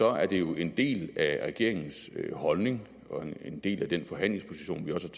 er det jo en del af regeringens holdning og en del af den forhandlingsposition vi også